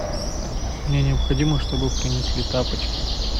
мне необходимо чтобы принесли тапочки